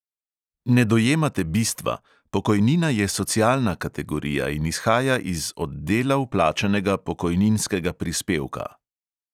Ne dojemate bistva: pokojnina je socialna kategorija in izhaja iz od dela vplačanega pokojninskega prispevka.